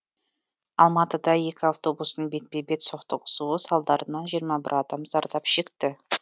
алматыда екі автобустың бетпе бет соқтығысуы салдарынан жиырма бір адам зардап шекті